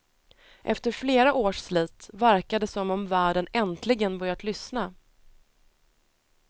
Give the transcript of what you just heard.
Efter flera års slit verkar det som om världen äntligen börjat lyssna.